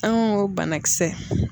An ko banakisɛ.